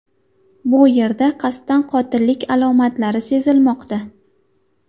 Bu yerda qasddan qotillik alomatlari sezilmoqda.